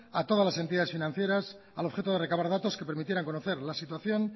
a todas las entidades financieras al objeto de recaudar datos que permitieran conocer la situación